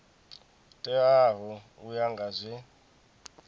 teaho u ya nga zwe